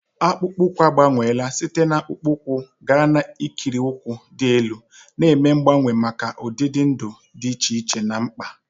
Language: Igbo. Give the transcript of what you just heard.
Akpụkpọ ụkwụ agbanweela site na akpụkpọ ụkwụ gaa n'ikiri ụkwụ dị elu, na-eme mgbanwe maka ụdị ndụ dị iche iche na mkpa.